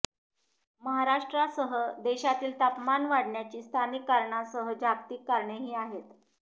महाराष्ट्रासह देशातील तापमान वाढण्याची स्थानिक कारणांसह जागतिक कारणेही आहेत